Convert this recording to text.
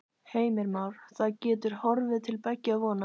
Heimir Már: Það getur horfið til beggja vona?